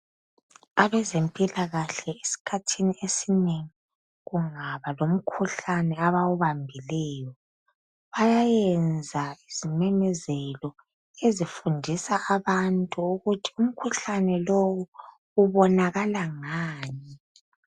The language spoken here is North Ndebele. Abezempilakahle esikhathini esinengi kungaba lomkhuhlane abawubambileyo, bayayenza izimemezelo ezifundisa abantu ukuthi umkhuhlane lowu ubonakala ngani.